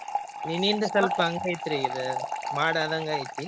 ನಿನ್ನಿಂದ ಸ್ವಲ್ಪ ಹಂಗ್ ಐತ್ರಿ ಇದ್ ಮಾಡ್ ಆದಂಗ ಆಗೇತಿ.